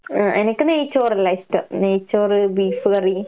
ഏഹ് എനക്ക് നെയ്‌ച്ചോറെല്ലാ ഇഷ്ടം. നെയ്‌ച്ചോറ് ബീഫ് കറി.